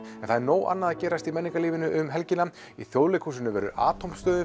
en það er nóg annað að gerast í menningarlífinu um helgina í Þjóðleikhúsinu verður